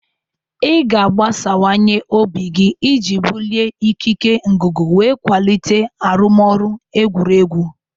Ị ga-agbasawanye obi gị iji bulie ikike ngụgụ wee kwalite arụmọrụ egwuregwu.